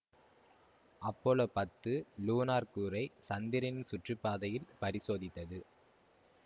Apollo பத்து lunar கூறை சந்திரனின் சுற்றுப்பாதையில் பரிசோதித்தது